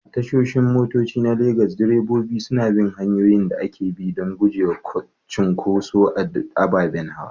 A tashoshin motoci na Legas, direbobi suna bin hanyoyin da ake bi don gujewa cunkoson ababen hawa.